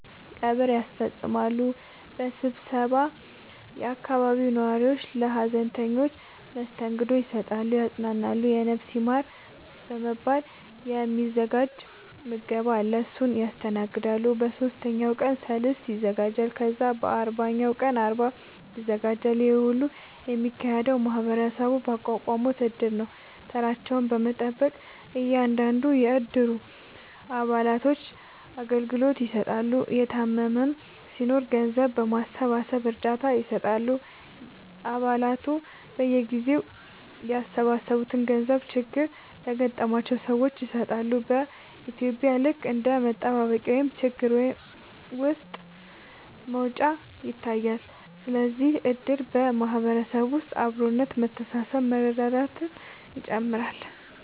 ቀብር ያስፈፅማሉ በመሰባሰብ የአካባቢው ነዋሪዎች ለሀዘንተኞች መስተንግዶ ይሰጣሉ ያፅናናሉ የነፍስ ይማር በመባል የ ሚዘጋጅ ምገባ አለ እሱን ያስተናግዳሉ በ ሶስተኛው ቀን ሰልስት ይዘጋጃል ከዛ በ አርባኛው ቀን አርባ ይዘጋጃል ይሄ ሁሉ የሚካሄደው ማህበረሰቡ ባቋቋሙት እድር ነው ተራቸውን በመጠበቅ እያንዳንዱን የ እድሩ አባላቶች አገልግሎት ይሰጣሉ የታመመም ሲናኖር ገንዘብ በማሰባሰብ እርዳታ ይሰጣሉ አ ባላቱ በየጊዜው ያሰባሰቡትን ገንዘብ ችግር ለገጠማቸው ሰዎች ይሰጣሉ በ ኢትዩጵያ ልክ እንደ መጠባበቂያ ወይም ችግር ውስጥ መውጫ ይታያል ስለዚህም እድር በ ማህበረሰብ ውስጥ አብሮነት መተሳሰብ መረዳዳትን ይጨምራል